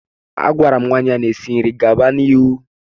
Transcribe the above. A gwara m nwaanyị ahụ na-esi nri gaba n'ihu.